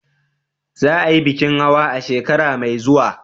Za a yi bikin hawa a shekara mai zuwa?